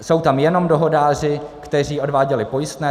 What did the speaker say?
Jsou tam jenom dohodáři, kteří odváděli pojistné.